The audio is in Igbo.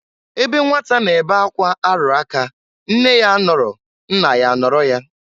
Ebe nnwata na-ebe akwa arụ aka nne ya anọrọ nna ya anọrọ ya.